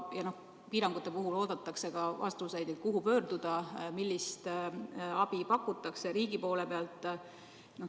Ja piirangute puhul oodatakse ka vastuseid, kuhu pöörduda, millist abi pakutakse riigi poole pealt.